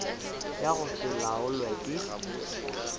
ya go se laolwe ke